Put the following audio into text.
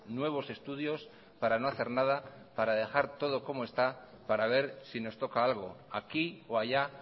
nuevos estudios para no hacer nada para dejar todo como está para ver si nos toca algo aquí o allá